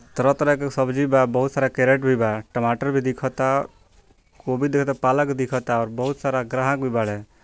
तरह-तरह के सब्जी बा बहुत सारा कैरट भी बा टमाटर भी देखता दिखता गोभी दिखता पालक दिखता और बहुत सारा ग्राहक भी बारे ।